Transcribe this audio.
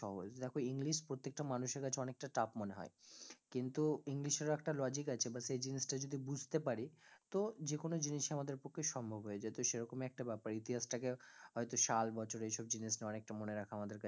সহজ, দেখো english প্রত্যেকটা মানুষের কাছে অনেক tough মনে হয়, কিন্তু english এর ও একটা logic আছে এবার সেই জিনিস টা যদি বুঝতে পারি তো যেকোনো জিনিস ই আমাদের পক্ষে সম্ভব হয়ে যায় তো সেইরকম ই একটা ব্যাপার ইতিহাস টা কে হয়তো সাল, বছর এইসব জিনিস নিয়ে অনেক টা মনে রাখা আমাদের কাছে